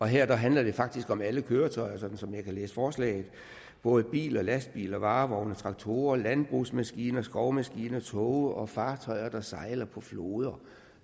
her handler det faktisk om alle køretøjer sådan som jeg kan læse forslaget både biler lastbiler varevogne traktorer landbrugsmaskiner skovmaskiner toge og fartøjer der sejler på floder